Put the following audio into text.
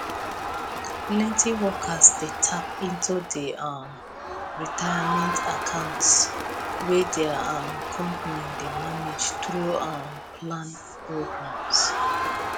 plenty workers dey tap into di um retirement accounts wey their um company dey manage through um plan programs